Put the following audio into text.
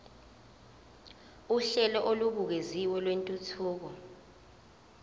uhlelo olubukeziwe lwentuthuko